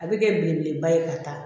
A bɛ kɛ belebeleba ye ka taa